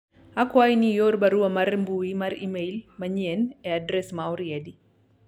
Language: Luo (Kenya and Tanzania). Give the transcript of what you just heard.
akwayi ni ior barua mar mbui mar email mayien e adres ma oriedi